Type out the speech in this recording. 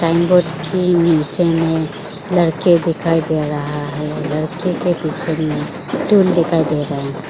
Signboard के नीचे में लड़के दिखाई दे रहा है लड़के के पीछे में टूल दिखाई दे रहा है।